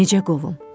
Necə qovum?